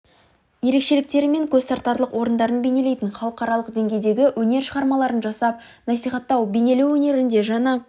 ерекшеліктері мен көз тартарлық орындарын бейнелейтін халықаралық деңгейдегі өнер шығармаларын жасап насихаттау бейнелеу өнерінде жаңа